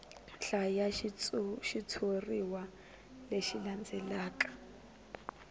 hlaya xitshuriwa lexi landzelaka hi